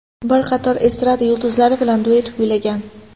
Bir qator estrada yulduzlari bilan duet kuylagan.